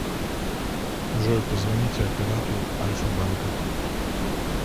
джой позвоните оператору альфа банка